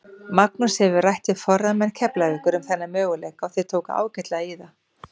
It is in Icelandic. Magnús hefur rætt við forráðamenn Keflavíkur um þennan möguleika og þeir tóku ágætlega í það.